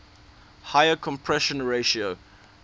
higher compression ratio